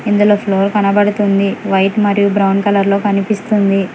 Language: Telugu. ఇందులో ఫ్లోర్ కనబడుతుంది వైట్ మరియు బ్రౌన్ కలర్ లో కనిపిస్తుంది.